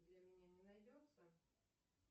для меня не найдется